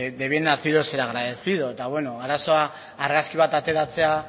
de bien nacido es ser agradecido eta arazoa argazki bat ateratzea